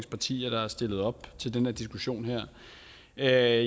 partier der har stillet op til den her diskussion vi er